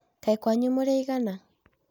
Kaĩ kwayu mũrĩ aigana?